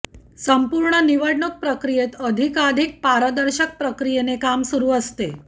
संपूर्ण निवडणूक प्रक्रियेत अधिकाधिक पारदर्शक प्रक्रियेने काम सुरू असते